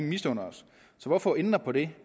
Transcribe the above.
misunder os så hvorfor ændre på det